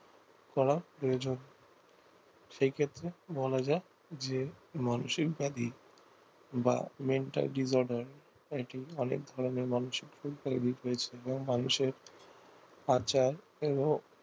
করা প্রয়োজন সেই ক্ষেত্রে বলা যায় যে মানসিক ব্যাধি বা mental disorder এটি অনেক ধরণের বা মানুষের আচার এবং